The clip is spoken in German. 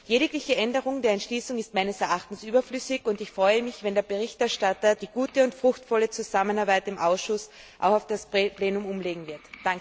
Jegliche Änderung der Entschließung ist meines Erachtens nach überflüssig und ich freue mich, wenn der Berichterstatter die gute und fruchtvolle Zusammenarbeit im Ausschuss auch auf das Plenum umlegen wird.